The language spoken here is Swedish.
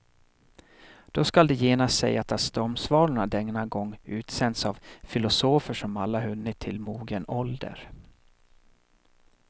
Då skall det genast sägas att stormsvalorna denna gång utsänds av filosofer som alla hunnit till mogen ålder.